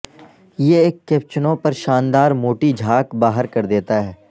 یہ ایک کیپچنو پر شاندار موٹی جھاگ باہر کر دیتا ہے